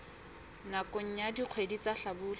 nakong ya dikgwedi tsa hlabula